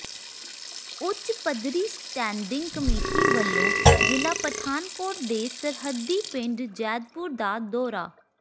ਉ ੱਚ ਪੱਧਰੀ ਸਟੈਂਡਿੰਗ ਕਮੇਟੀ ਵਲੋਂ ਜ਼ਿਲ੍ਹਾ ਪਠਾਨਕੋਟ ਦੇ ਸਰਹੱਦੀ ਪਿੰਡ ਜੈਦਪੁਰ ਦਾ ਦੌਰਾ